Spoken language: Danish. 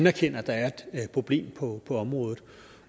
erkender at der er et problem på området